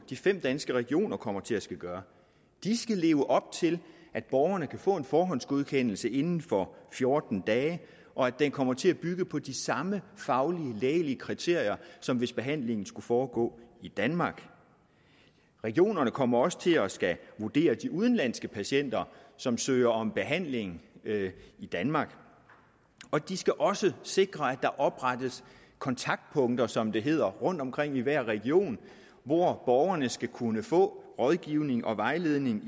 de fem danske regioner kommer til at skulle gøre de skal leve op til at borgerne kan få en forhåndsgodkendelse inden for fjorten dage og at den kommer til at bygge på de samme faglige lægelige kriterier som hvis behandlingen skulle foregå i danmark regionerne kommer også til at skulle vurdere de udenlandske patienter som søger om behandling i danmark og de skal også sikre at der oprettes kontaktpunkter som det hedder rundtomkring i hver region hvor borgerne skal kunne få rådgivning og vejledning